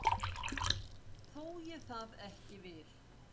Þó ég það ekki vil.